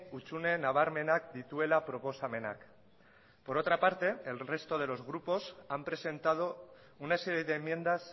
hutsune nabarmenak dituela proposamenak por otra parte el resto de los grupos han presentado una serie de enmiendas